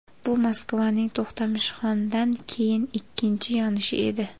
Bu Moskvaning To‘xtamishxondan keyin ikkinchi yonishi edi.